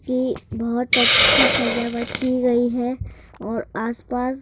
की बहुत अच्छी सजावट की गई है और आसपास--